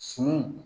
Sumanw